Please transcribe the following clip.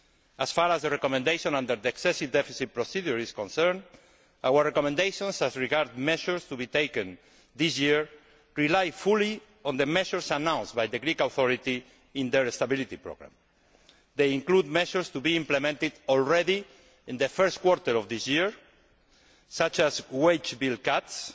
As far as the recommendation on the excessive deficit procedure is concerned, our recommendations as regard measures to be taken this year rely fully on the measures announced by the Greek authorities in their stability programme. They include measures to be implemented in the first quarter of this year, such as wage bill